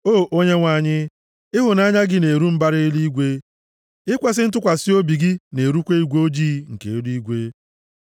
O Onyenwe anyị, ịhụnanya gị na-eru mbara eluigwe, ikwesi ntụkwasị obi gị na-erukwa igwe ojii nke eluigwe.